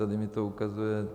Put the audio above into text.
Tady mi to ukazuje...